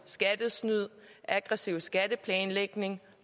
skattesnyd aggressiv skatteplanlægning